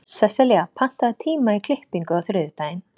Sesselja, pantaðu tíma í klippingu á þriðjudaginn.